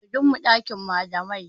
Sai gobe zamu kai takardun mu ɗakin malamai